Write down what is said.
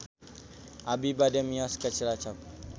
Abi bade mios ka Cilacap